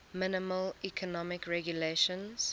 minimal economic regulations